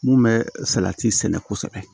Mun bɛ salati sɛnɛ kosɛbɛ